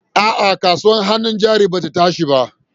A'a, kasuwar hannun jari ba ta tashi ba.